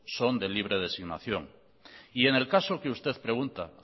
son de libre designación y en el caso que usted pregunta